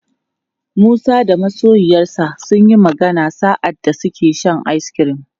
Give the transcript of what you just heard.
Musa da masoyiyarsa sunyi magana sa'adda suke shan ice cream.